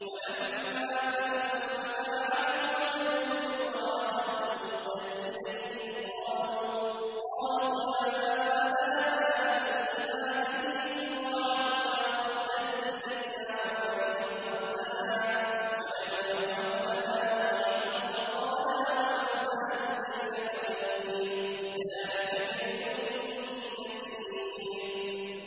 وَلَمَّا فَتَحُوا مَتَاعَهُمْ وَجَدُوا بِضَاعَتَهُمْ رُدَّتْ إِلَيْهِمْ ۖ قَالُوا يَا أَبَانَا مَا نَبْغِي ۖ هَٰذِهِ بِضَاعَتُنَا رُدَّتْ إِلَيْنَا ۖ وَنَمِيرُ أَهْلَنَا وَنَحْفَظُ أَخَانَا وَنَزْدَادُ كَيْلَ بَعِيرٍ ۖ ذَٰلِكَ كَيْلٌ يَسِيرٌ